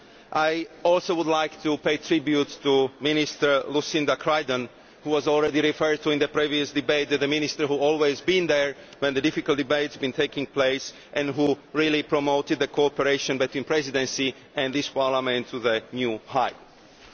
I also would like to pay tribute to Minister Lucinda Creighton, who was already referred to in the previous debate as the minister who had always been there when the difficult debates were taking place and who really promoted the cooperation between the Presidency and this Parliament to new heights.